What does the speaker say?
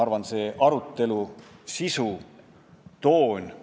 Aga kas see saal on väärt kuulama sellist debatti, nagu täna siin kõlas?